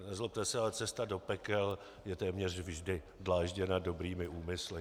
Nezlobte se, ale cesta do pekel je téměř vždy dlážděna dobrými úmysly.